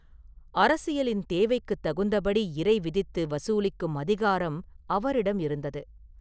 அரசியலின் தேவைக்குத் தகுந்தபடி இறை விதித்து வசூலிக்கும் அதிகாரம் அவரிடம் இருந்தது.